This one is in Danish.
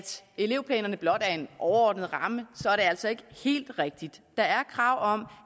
elevplanerne blot er en overordnet ramme så er det altså ikke helt rigtigt der er krav om